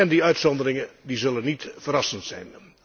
Die uitzonderingen zullen niet verrassend zijn.